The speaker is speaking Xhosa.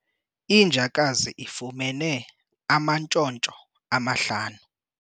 Injakazi ifumene amantshontsho amahlanu.